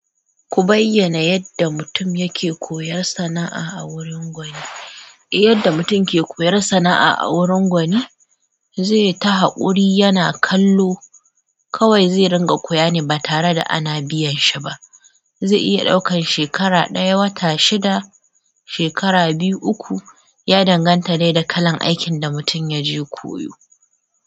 Ku bayyana yadda mutum yake koyar sana'a a wurin gwani. Yadda mutum yake koyar sana'a a wurin gwani, zai ta haƙuri yana kallo kawai zai ringa koya ne ba tare da ana biyan shi ba. Zai iya ɗaukan shekara ɗaya, wata shida, shekara biyu, uku, ya danganta dai da kalan aikin da mutum ya je koyo.